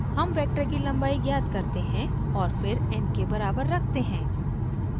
हम वेक्टर की लम्बाई ज्ञात करते हैं और फिर n के बराबर रखते हैं